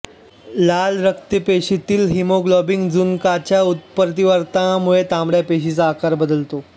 लाल रक्तपेशीतील हीमोग्लोबिन जनुकाच्या उत्परिवर्तनामुळे तांबड्या पेशीचा आकार बदलतो